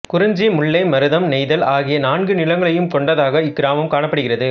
குறிஞ்சி முல்லை மருதம் நெய்தல் ஆகிய நாநிலங்களையும் கொண்டதாக இக்கிராமம் காணப்படுகிறது